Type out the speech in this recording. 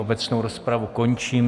Obecnou rozpravu končím.